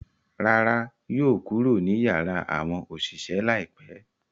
Rárá, yóò kuro ni yara awọn oṣiṣẹ laipẹ